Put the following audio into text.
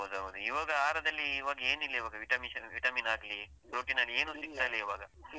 ಹೌದೌದು, ಇವಾಗ ಆಹಾರದಲ್ಲಿ ಇವಾಗ ಏನಿಲ್ಲ ಇವಾಗ vitamins vitamin ಆಗ್ಲಿ, protein ಆಗ್ಲಿ ಏನು ತಿಂತಾ ಇಲ್ಲ ಇವಾಗ.